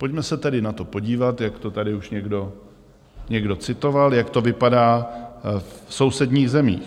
Pojďme se tedy na to podívat, jak to tady už někdo citoval, jak to vypadá v sousedních zemích.